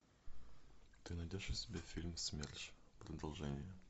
ты найдешь у себя фильм смерш продолжение